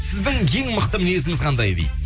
сіздің ең мықты мінезіңіз қандай дейді